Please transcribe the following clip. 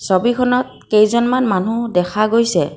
ছবিখনত কেইজনমান মানুহ দেখা গৈছে।